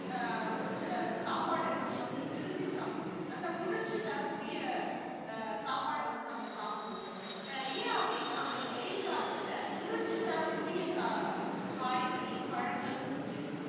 ஆஹ் ஒரு சில சாப்பாடு நம்ம வந்து விரும்பி சாப்பிடுவோம். நல்ல குளிர்ச்சி தரக்கூடிய, அஹ் சாப்பாட்டை வந்து நம்ம சாப்பிடுவோம். அஹ் ஏன் அப்படினா அந்த வெயில் காலத்துல குளிர்ச்சி தரக்கூடிய ச~ காய்கறி, பழங்கள் வந்துட்டு